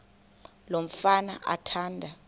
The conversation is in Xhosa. lo mfana athanda